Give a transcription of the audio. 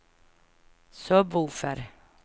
sub-woofer